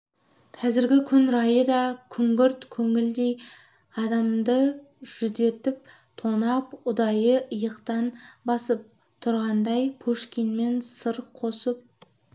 қазіргі күн райы да күңгірт көңілдей адамды жүдетіп тонап ұдайы иықтан басып тұрғандай пушкинмен сыр қосып